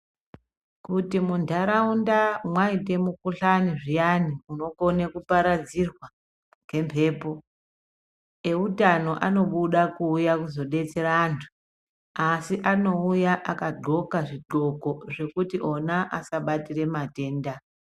Kuti mundharawunda mwaite mukhuhlane zviyani unokone kuparadzirwa ngemhepo. Ehutano anobuda kuuya kuzodetsera antu. Asi anouya akagxoka zvigxoko zvokuti ona asabatire matenda.